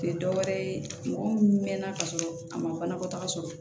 Tɛ dɔ wɛrɛ ye mɔgɔ min mɛnna ka sɔrɔ a ma banakɔtaga sɔrɔ